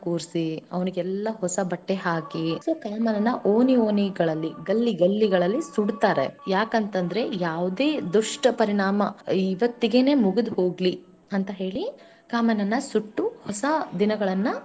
ಕೂರ್ಸಿ ಅವ್ನಿಗೆಲ್ಲಾ ಹೊಸಬಟ್ಟೆ ಹಾಕಿ ಕಾಮಣ್ಣನ ಓಣಿ ಓಣಿ ಗಳಲ್ಲಿ, ಗಲ್ಲಿ ಗಲ್ಲಿಗಳಲ್ಲಿ ಸುಡತಾರೆ ಯಾಕಂತಂದ್ರೆ ಯಾವದೇ ದುಷ್ಟ ಪರಿಣಾಮ ಇವತ್ತಿಗೇನ್ ಮುಗದ ಹೋಗ್ಲಿ ಅಂತ ಹೇಳಿ ಕಾಮನನ್ನು ಸುಟ್ಟು ಹೊಸ ದಿನಗಳನ್ನು.